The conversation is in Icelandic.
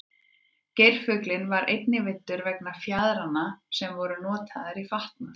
geirfuglinn var einnig veiddur vegna fjaðranna sem voru notaðar í fatnað